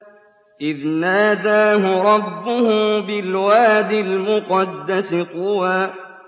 إِذْ نَادَاهُ رَبُّهُ بِالْوَادِ الْمُقَدَّسِ طُوًى